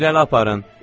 İrəli aparın!